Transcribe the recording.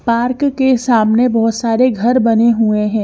Park के सामने बोहोत सारे घर बने हुए है।